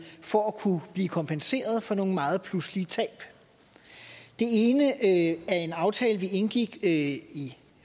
for at kunne blive kompenseret for nogle meget pludselige tab det ene er en aftale vi indgik i i